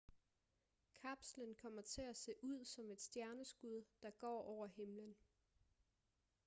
kapslen kommer til at se ud som et stjerneskud der går over himlen